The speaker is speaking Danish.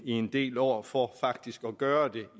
en del år for faktisk at gøre det